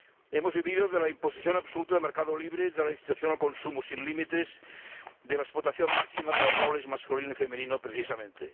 Hemos vivido de la imposición absoluta del mercado libre, de la incitación al consumo sin límites, de la explotación máxima de los roles masculino y femenino, precisamente.